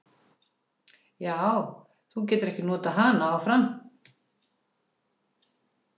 Magnús: Já, þú getur ekki notað hana áfram?